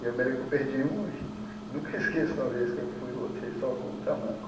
Eu me lembro que eu perdi um e nunca esqueço de uma vez que eu fui e voltei só com um tamanco.